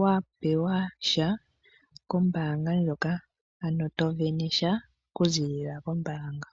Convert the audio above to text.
wa pewa sha kombaanga ndjoka , ano to vene sha okuziilila kombaanga.